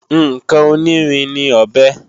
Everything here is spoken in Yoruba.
Ǹkan onírin ní ọ̀bẹ